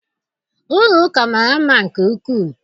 Ụlọ ụka mara mma nke ukwu.